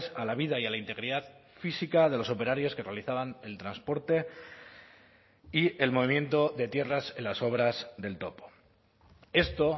a la vida y a la integridad física de los operarios que realizaban el transporte y el movimiento de tierras en las obras del topo esto